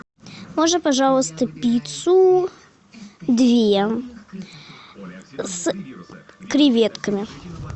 можно пожалуйста пиццу две с креветками